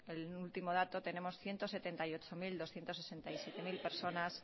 el último dato tenemos ciento setenta y ocho mil doscientos sesenta y siete personas